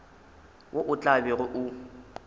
wo o tla bego o